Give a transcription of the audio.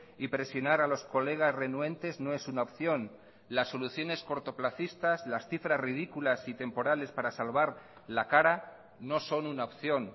y presionar a los colegas renuentes no es una opción las soluciones cortoplacistas las cifras ridículas y temporales para salvar la cara no son una opción